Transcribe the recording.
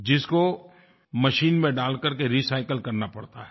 जिसको मशीन में डाल करके रिसाइकिल करना पड़ता है